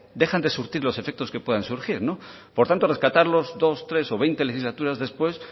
dejan de surtir los efectos que puedan surgir no por tanto rescatarlos dos tres o veinte legislaturas después